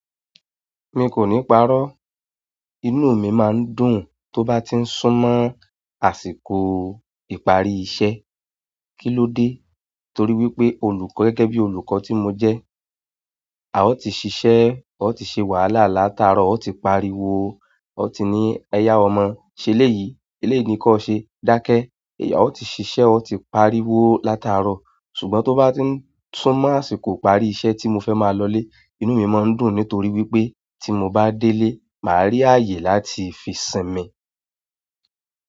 N kò ní parọ́. Inú mi máa ń dùn tó bá ti ń sún mọ́ àsìkò ìpàrii iṣẹ́. Kí ló dé? Torí wípé olùkọ́ gẹ́gẹ́ bí olùkọ́ tí mo jẹ́, a ò tí ì sise a ò tí ṣe wàhálà látaaro, a ò tí parí wo, a ò tí ní oyà ọmọ. Ṣe léyìí, eléèní kọ́ ṣe, dákẹ́. Yà ó ti ṣiṣẹ́, ó ti parí wó látaaro. Ṣùgbọ́n tó bá ti ń sún mọ́ àsìkò ìpàri iṣẹ́ tí mo fẹ́ máa lọlé, inú mi máa ń dùn nítorí wípé tí mo bá délé, màá rí ààyè láti fi sinmi.